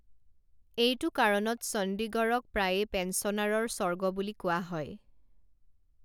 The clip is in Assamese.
এইটো কাৰণত চণ্ডীগড়ক প্ৰায়ে পেঞ্চনাৰৰ স্বৰ্গ বুলি কোৱা হয়।